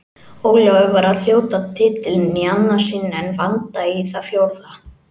Ólafur var að hljóta titilinn í annað sinn en Vanda í það fjórða.